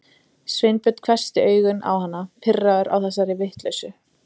Sveinbjörn hvessti augun á hana, pirraður á þessari vitleysu.